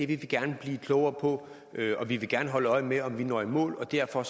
gerne blive klogere på og vi vil gerne holde øje med om vi når i mål derfor